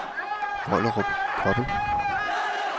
Vollerup Kobbel